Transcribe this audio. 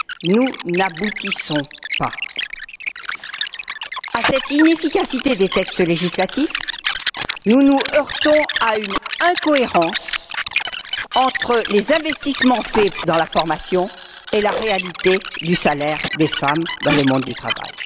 Nous n'aboutissons pas. Outre cette inefficacité des textes législatifs, nous nous heurtons à une incohérence entre les investissements faits dans la formation et la réalité du salaire des femmes dans le monde du travail.